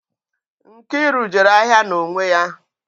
Nkiru jere ahịa n'onwe ya